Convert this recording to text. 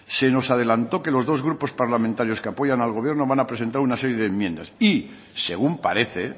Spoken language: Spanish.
se nos adelantó que los dos grupos parlamentarios que apoyan al gobierno van a presentar una serie de enmiendas y según parece